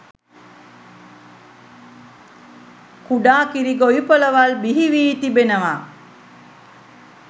කුඩා කිරි ගොවිපළවල් බිහිවී තිබෙනවා.